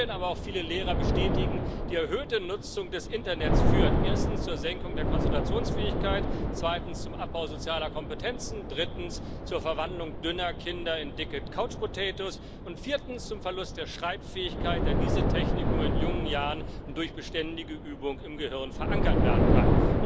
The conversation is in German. Studien, aber auch viele Lehrer bestätigen Die erhöhte Nutzung des Internets führt erstens zur Senkung der Konzentrationsfähigkeit, zweitens zum Abbau sozialer Kompetenzen, drittens zur Verwandlung dünner Kinder in dicke Couch Potatoes und viertens zum Verlust der Schreibfähigkeit, da diese Technik nur in jungen Jahren durch beständige Übung im Gehirn verankert werden kann.